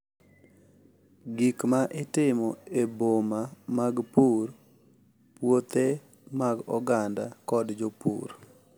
Gik ma itimo e boma mag pur, puothe mag oganda, kod jopur’